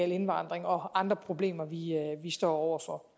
indvandring og andre problemer vi står over for